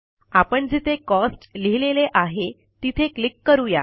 आपण जिथे कॉस्ट लिहिलेले आहे तिथे क्लिक करू या